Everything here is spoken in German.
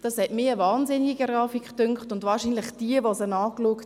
Eine Grafik fand ich wahnsinnig, und wohl alle anderen auch, die sie gesehen haben.